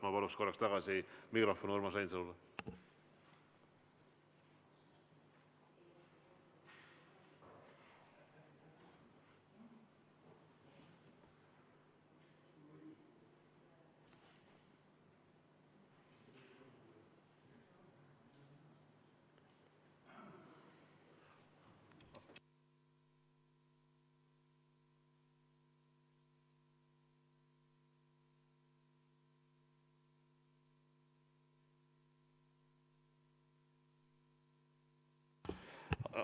Ma paluks korraks tagasi mikrofon Urmas Reinsalule.